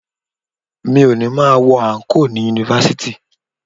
Mi ò ní máa wọ àǹkóò ni Yunifásítì.